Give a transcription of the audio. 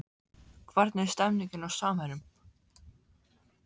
Hvernig er stemningin hjá Samherjum?